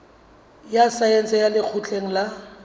ya saense ya lekgotleng la